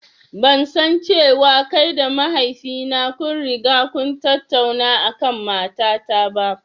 Ban san cewa kai da mahaifi na kun riga kun tattauna a kan mata ta ba.